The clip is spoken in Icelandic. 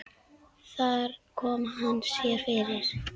Þar kom hann sér fyrir.